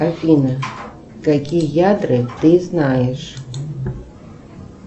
афина какие ядра ты знаешь